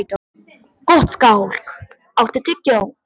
Gottskálk, áttu tyggjó?